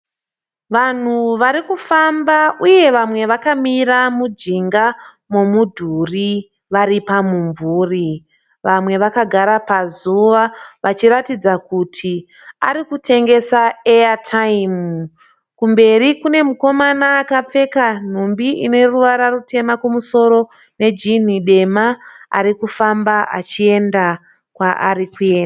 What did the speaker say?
Vanhu vari kufamba uye vamwe vakamira mujinga momudhuri vari pamumvuri. Vamwe vakagara pazuva vachiratidza kuti varikutengesa eyatayimu. Kumberi kune mukomana akapfeka nhumbi ine ruvara rutema kumusoro nejini dema ari kufamba achienda kwaari kuenda.